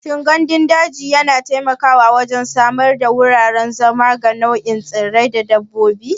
Shin gandun daji yana taimakawa wajen samar da wuraren zama ga nau'ikan tsirrai da dabbobi?